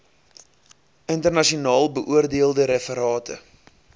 internasionaal beoordeelde referate